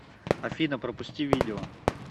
афина пропусти видео